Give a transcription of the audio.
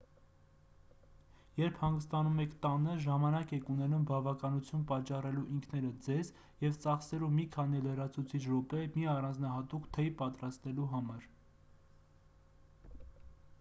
երբ հանգստանում եք տանը ժամանակ եք ունենում բավականություն պատճառելու ինքներդ ձեզ և ծախսելու մի քանի լրացուցիչ րոպե մի առանձնահատուկ թեյ պատրաստելու համար